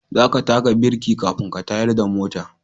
Za ka taka birki kafin ka tayar da mota